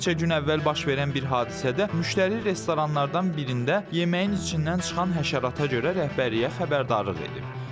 Bir neçə gün əvvəl baş verən bir hadisədə müştəri restoranlardan birində yeməyin içindən çıxan həşərata görə rəhbərliyə xəbərdarlıq edib.